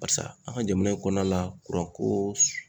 Barisa an ka jamana in kɔnɔna la ko